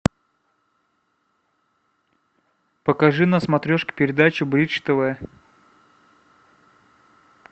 покажи на смотрешке передачу бридж тв